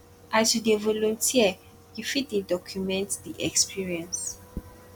as you dey volunteer you fit dey document di experience